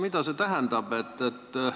Mida see tähendab?